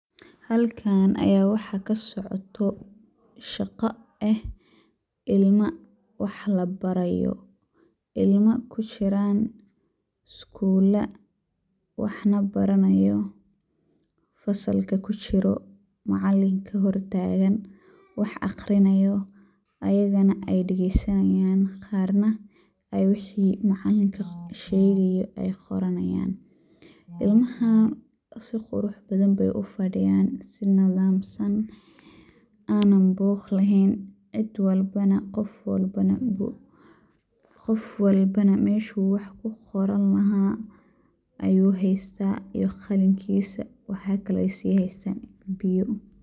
Halkaan ayaa waxaa ka socdo shaqa eh, ilma wax la barayo ,ilma ku jiraan iskuula ,wax na baranayo ,fasalka ku jiro ,macalinka hor taagan ,wax akhrinayo ayagana ay dhageysanayaan ,qarna waxi uu macalinka u shegayo ay qoranayaan . Ilmahaan si qurux badan bey u fadhiyaan ,si nadaamsan ,aanan buuq laheyn, cid walbana ,qof walabana meshuu wax ku qoran lahaa ayuu heystaa iyo qalinkiisa ,waxa kale ay sii haystaan biyo.